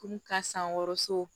Kurun ka san wɔɔrɔ so